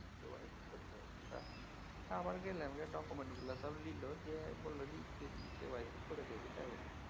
আবার গেলাম গে document গুলা সব নিলো দিয়ে বলল যে EKYC করে দিয়েছে তাই বলল